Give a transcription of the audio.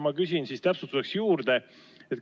Ma küsin täpsustuseks juurde.